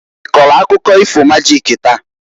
I kọlụ akụkọ ifo majik taa?